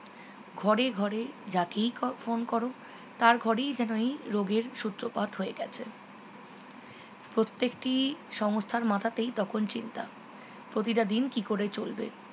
ঘরে ঘরে যাকেই ক phone করো তার ঘরেই যেন এই রোগের সূত্রপাত হয়ে গেছে প্রত্যেকটি সংস্থার মাথাতেই তখন চিন্তা প্রতিটা দিন কি করে চলবে